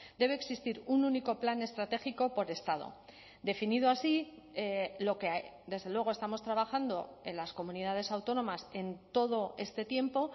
debe existir un único plan estratégico por estado definido así lo que desde luego estamos trabajando en las comunidades autónomas en todo este tiempo